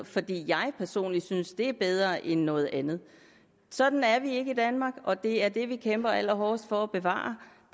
fordi jeg personligt synes det er bedre end noget andet sådan er vi ikke i danmark og det er det vi kæmper allerhårdest for at bevare